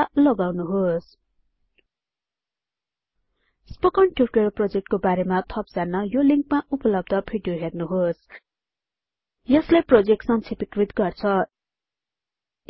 पत्ता लगाउनुहोस् spoken tutorial प्रोजेक्टको बारेमा थप जान्न यो लिंकमा उपलब्ध भिडियो हेर्नुहोस् यसले प्रोजेक्ट सक्षेपिकृत गर्छ